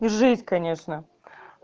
и жесть конечно